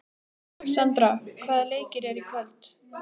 Sandra, hvaða leikir eru í kvöld?